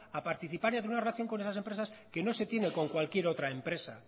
a participar y a tener una relación con esas empresas que no se tiene con cualquier otra empresa